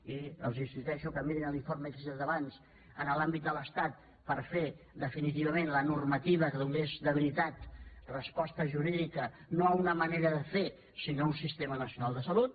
i els insisteixo que mirin l’informe que he citat abans en l’àmbit de l’estat per fer definitivament la normativa que donés de veritat resposta jurídica no a una manera de fer sinó a un sistema nacional de salut